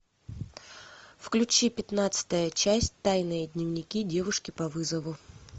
включи пятнадцатая часть тайные дневники девушки по вызову